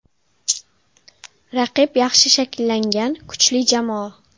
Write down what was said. Raqib yaxshi shakllangan, kuchli jamoa.